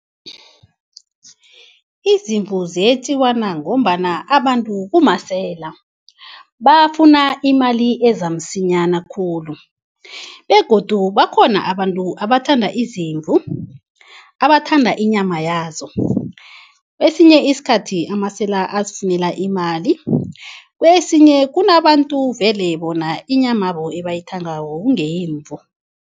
Izimvu ziyetjiwa na ngombana abantu kumasela, bafuna imali eza msinyana khulu begodu bakhona abantu abathanda izimvu, abathanda inyama yazo. Kwesinye isikhathi amasela azifunela imali, kwesinye kunabantu vele bona inyamabo ebayithandako kungeyemvu.